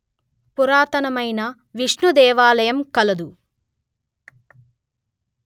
పురాతనమైన విష్ణుదేవాలయం కలదు